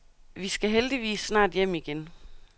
Vi skal heldigvis snart hjem igen.